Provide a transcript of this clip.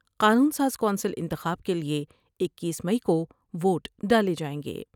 قانون ساز کونسل انتخاب کے لئے اکیس مئی کو ووٹ ڈالے جائیں گے